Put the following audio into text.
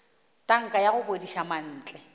tanka ya go bodiša mantle